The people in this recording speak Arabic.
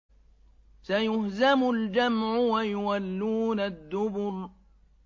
سَيُهْزَمُ الْجَمْعُ وَيُوَلُّونَ الدُّبُرَ